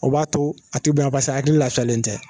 O b'a to a ti bonya a hakili lafiyalen tɛ